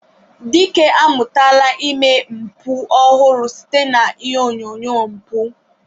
Dike amụtala ụzọ ime mpụ ọhụrụ site na ihe onyonyo mpụ.